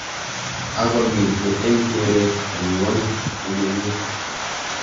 Ako mitei eng keret eng ngwuny komugul.